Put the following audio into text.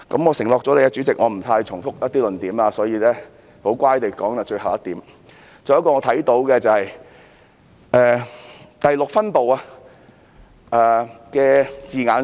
我向主席承諾不會太重複一些論點，所以我十分順從地說到最後一點，就是第6分部的字眼。